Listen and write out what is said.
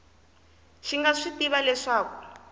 xi nga swi tivi leswaku